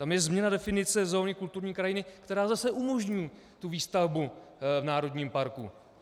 Tam je změna definice zóny kulturní krajiny, která zase umožní tu výstavbu v národním parku.